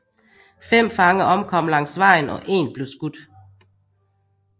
Fem fanger omkom langs vejen og én blev skudt